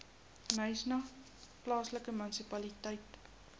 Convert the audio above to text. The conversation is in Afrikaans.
knysna plaaslike munisipaliteit